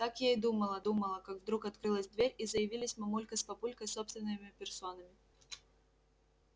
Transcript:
так я и думала думала как вдруг открылась дверь и заявились мамулька с папулькой собственными персонами